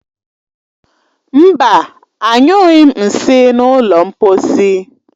Mba, anyụghi m nsị na ụlọ mposi.